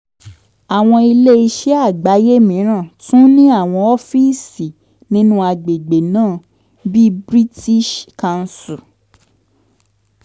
àwọn iléeṣẹ́ àgbáyé mìíràn tún ní àwọn ọ́fíìsì nínú àgbègbè náà bí british council.